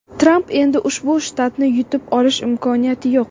Trampda endi ushbu shtatni yutib olish imkoniyati yo‘q.